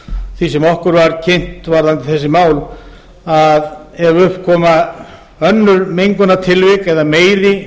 því sem okkur var kynnt varðandi þessi mál þá var það þannig orðað að ef upp koma önnur mengunartilvik eða meiri